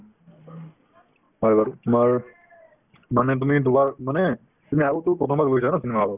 হয় বাৰু তোমাৰ মানে তুমি দুবাৰ মানে তুমি আগতেও প্ৰথমবাৰ গৈছা ন cinema hall ত